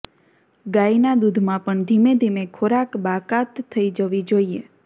ગાયના દૂધમાં પણ ધીમે ધીમે ખોરાક બાકાત થઈ જવી જોઈએ